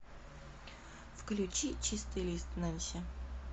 включи чистый лист нэнси